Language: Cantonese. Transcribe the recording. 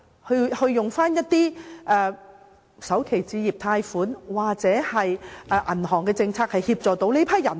可否再透過首置貸款或銀行的政策協助這些人？